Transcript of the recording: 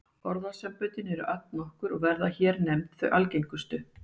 Orðasamböndin eru allnokkur og verða hér nefnd þau algengustu.